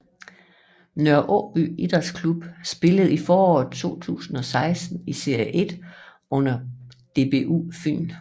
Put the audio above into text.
Nørre Aaby Idrætsklub spillede i foråret 2016 i Serie 1 under DBU Fyn